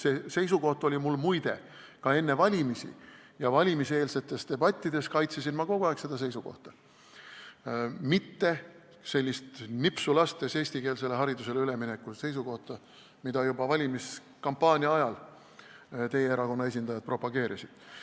See seisukoht oli mul, muide, ka enne valimisi ja valimiseelsetes debattides kaitsesin ma kogu aeg seda seisukohta, mitte ei rääkinud nipsu lastes eestikeelsele haridusele üleminekust, mida juba valimiskampaania ajal teie erakonna esindajad propageerisid.